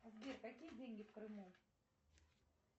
сбер какие деньги в крыму